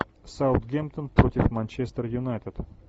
саутгемптон против манчестер юнайтед